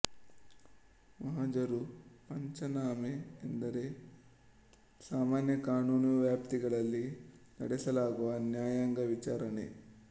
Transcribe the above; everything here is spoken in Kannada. ಮಹಜರು ಪಂಚನಾಮೆ ಎಂದರೆ ಸಾಮಾನ್ಯ ಕಾನೂನುವ್ಯಾಪ್ತಿಗಳಲ್ಲಿ ನಡೆಸಲಾಗುವ ನ್ಯಾಯಾಂಗ ವಿಚಾರಣೆ